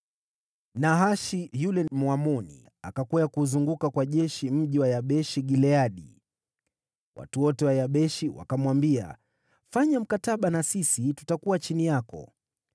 Nahashi yule Mwamoni, akakwea kuuzunguka kwa jeshi mji wa Yabeshi-Gileadi. Watu wote wa Yabeshi wakamwambia, “Fanya mkataba na sisi, na tutakuwa chini yako.”